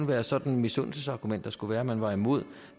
være sådan et misundelsesargument der skulle gøre at man var imod